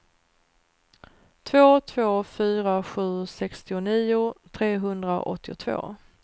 två två fyra sju sextionio trehundraåttiotvå